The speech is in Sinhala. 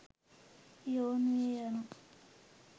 යොවුන් විය යනු